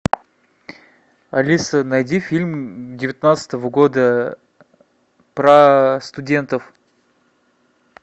алиса найди фильм девятнадцатого года про студентов